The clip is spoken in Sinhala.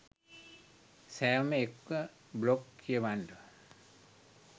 සැවොම එක්ව බ්ලොග් කියවන්න